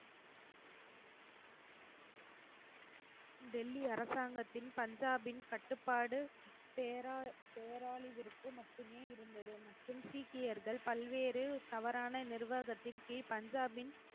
டெல்லி அரசாங்கத்தின் பஞ்சாபின் கட்டுப்பாடு பேரா பேராளி விற்கு மட்டுமே இருந்தது மற்றும் சீக்கியர்கள் பல்வேறு தவறான நிர்வாகத்தின் கீழ் பஞ்சாபின்